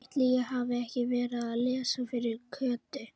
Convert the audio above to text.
Ætli ég hafi ekki verið að lesa fyrir Kötu.